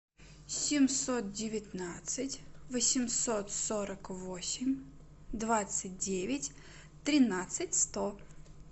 семьсот девятнадцать восемьсот сорок восемь двадцать девять тринадцать сто